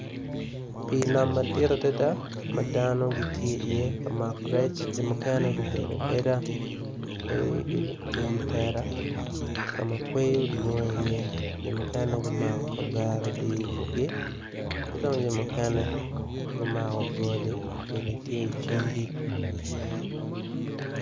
Pi nam madit adada madono tye ka mako rec jo mukene gubedo abeda i wi tela kama kwoyo dwong i ye jo mukene gumako kavera odiyo ibutgi kidong jo mukene gumako goli ki icingi.